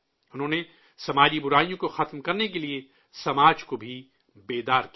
انہوں نے سماجی برائیوں کو ختم کرنے کے لیے سماج کو بیدار بھی کیا